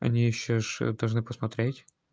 они же ещё должны посмотреть